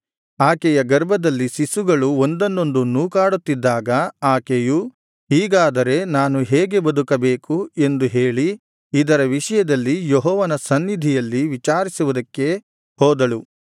ಆಕೆಯ ಗರ್ಭದಲ್ಲಿ ಶಿಶುಗಳು ಒಂದನ್ನೊಂದು ನೂಕಾಡುತ್ತಿದ್ದಾಗ ಆಕೆಯು ಹೀಗಾದರೆ ನಾನು ಹೇಗೆ ಬದುಕಬೇಕು ಎಂದು ಹೇಳಿ ಇದರ ವಿಷಯದಲ್ಲಿ ಯೆಹೋವನ ಸನ್ನಿಧಿಯಲ್ಲಿ ವಿಚಾರಿಸುವುದಕ್ಕೆ ಹೋದಳು